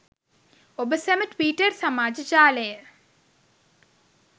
ඔබ සැම ට්විටර් සමාජ ජාලය